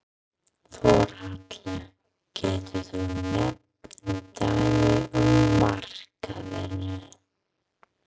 Þórhallur: Geturðu nefnt dæmi um markaðina?